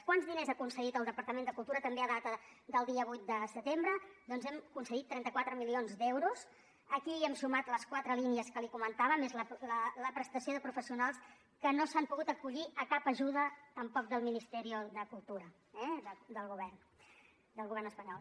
quants diners ha concedit el departament de cultura també a data del dia vuit de setembre doncs hem concedit trenta quatre milions d’euros aquí hi hem sumat les quatre línies que li comentava més la prestació de professionals que no s’han pogut acollir a cap ajuda tampoc del ministerio de cultura del govern espanyol